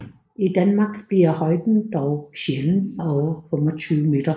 I Danmark bliver højden dog sjældent over 25 m